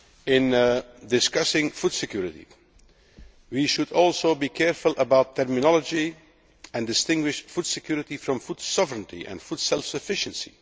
In discussing food security, we should also be careful about terminology, and distinguish food security from food sovereignty and food self sufficiency.